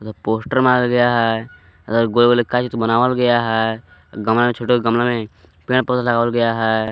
उधर पोस्टर मारा गया है उधर गोले गोले बनावल गया है गमले में छोटे छोटे गमले में पेड़ पौधे लगावल गया है।